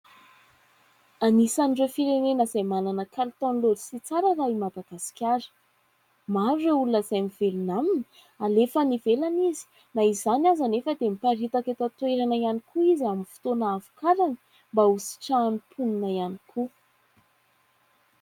Anisan'ireo firenena izay manana kalitaon'ny letisy tsara raha i Madagasikara, maro ireo olona izay mivelona aminy, alefa any ivelany izy, na izany aza anefa dia miparitaka eto an-toerana ihany koa izy amin'ny fotoana havokarany mba hositrahan'ny mponina ihany koa.